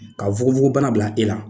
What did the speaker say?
Ka fogofogobana bila ila